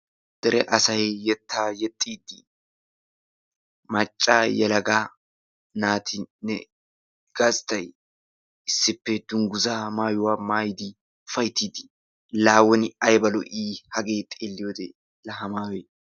Dere asay yettaa yexxiiddi macca yelaga naatinne gasttay issippe dunguzaa mayuwa mayidi ufaytiidi laa woni ayiba lo'i hagee xeelliyode laa ha mayoy!